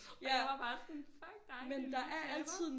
Og jeg var bare sådan fuck dig din lille taber